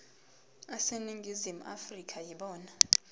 aseningizimu afrika yibona